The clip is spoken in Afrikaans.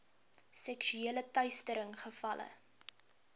seksuele teistering gevalle